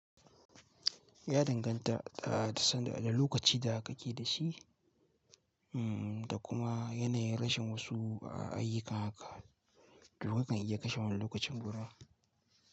Ya danganta da san da wane lokaci da ka ke da shi, mm, da kuma yanayin rashin wasu i yakan haka, don kakan iya kashe wani lokacin guda.